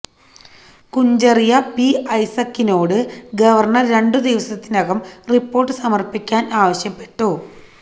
Kuncharia P ഐസക്കിനോട് governor രണ്ടു ദിവസത്തിനകം റിപ്പോര്ട്ട് സമര്പ്പിക്കാന് ആവശ്യപ്പെട്ടു